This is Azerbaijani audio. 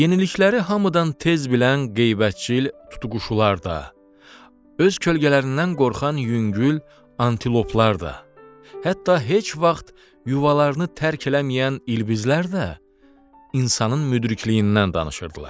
Yenilikləri hamıdan tez bilən qeybətçi tutuquşular da, öz kölgələrindən qorxan yüngül antiloplar da, hətta heç vaxt yuvalarını tərk eləməyən ilbizlər də insanın müdrikliyindən danışırdılar.